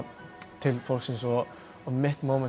til fólksins og mitt